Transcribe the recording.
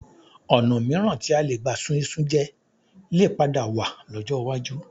Ọ̀̀nà mìíràn tí a lè gbà ṣun iṣu jẹ lè padà wà lọ́jọ́ iwájú